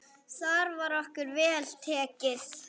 Þar var okkur vel tekið.